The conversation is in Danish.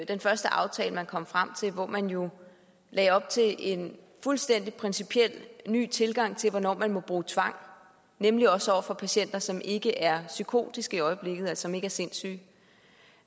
den første aftale man kom frem til hvor man jo lagde op til en fuldstændig principiel ny tilgang til hvornår der må bruges tvang nemlig også over for patienter som ikke er psykotiske i øjeblikket som ikke er sindssyge en